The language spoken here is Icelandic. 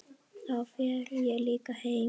Þá fer ég líka heim